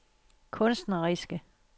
kunstneriske